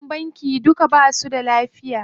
Maʼaikatan banki duka basu da lafiya.